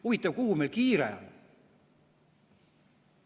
Huvitav, kuhu meil kiire on?